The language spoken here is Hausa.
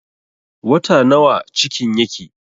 Wata nawa cikin yake?